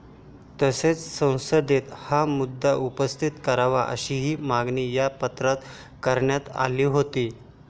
तसेच संसदेत हा मुद्दा उपस्थित करावा अशीही मागणी या पत्रात करण्यात आली होती.